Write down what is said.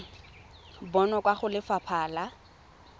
bonwa kwa go lefapha la